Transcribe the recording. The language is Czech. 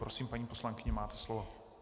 Prosím, paní poslankyně, máte slovo.